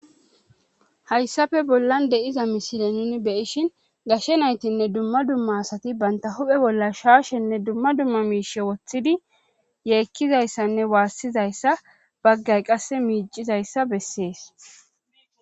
hayssafe bollan deiza mishile nin beyishin gashe naytinne dumma dumma asati banta huphe bolla shaashenne dumma dumma miishe woththidi yeekkizayssanne waassizayssa baggay qasse miicizayssa bessees